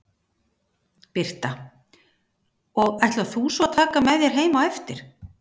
Birta: Og ætlar þú svo að taka hann með þér heim á eftir?